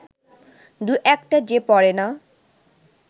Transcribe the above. দু-একটা যে পড়ে না